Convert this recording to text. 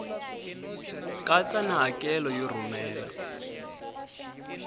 katsa na hakelo yo rhumela